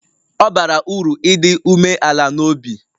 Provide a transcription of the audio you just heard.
Ọ bara uru ịdị umeala n'obi